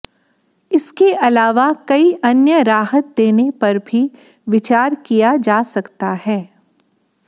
इसके अलावा कई अन्य राहत देने पर भी विचार किया जा सकता है